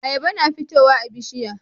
Ayaba na fitowa a bishiya